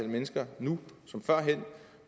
mennesker nu som før